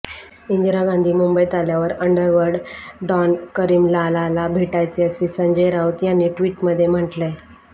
इंदिरा गांधी मुंबईत आल्यावर underworld don Karim लालाला भेटायचे असं संजय राऊत यांनी ट्विटमध्ये म्हटलंय